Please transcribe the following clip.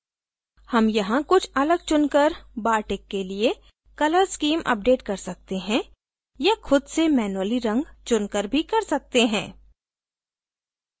हम यहाँ कुछ अलग चुनकर bartik के लिए colour स्कीम अपडेट कर सकते हैं या खुद से manually रंग चुनकर भी कर सकते हैं